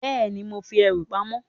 Bẹẹni, mo fi ẹrù pamó